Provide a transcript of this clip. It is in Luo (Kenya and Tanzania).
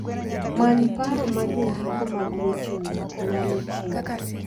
Many paro ma jondiko mag weche wuoth nyalo chiwo.